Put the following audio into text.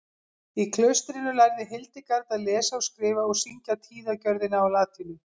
Í klaustrinu lærði Hildegard að lesa og skrifa og syngja tíðagjörðina á latínu.